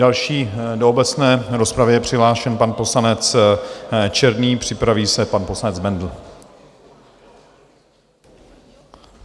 Další do obecné rozpravy je přihlášen pan poslanec Černý, připraví se pan poslanec Bendl.